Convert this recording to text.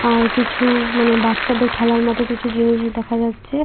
আর কিছু-উ মানে বাচ্চাদের খেলার মত কিছু জিনিস দেখা যাচ্ছে।